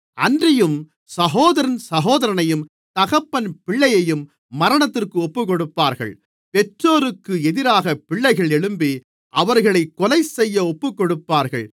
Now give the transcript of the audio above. அன்றியும் சகோதரன் சகோதரனையும் தகப்பன் பிள்ளையையும் மரணத்திற்கு ஒப்புக்கொடுப்பார்கள் பெற்றோருக்கு எதிராகப் பிள்ளைகள் எழும்பி அவர்களைக் கொலைசெய்ய ஒப்புக்கொடுப்பார்கள்